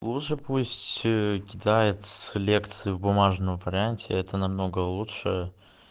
лучше пусть кидает лекции в бумажном варианте это намного лучше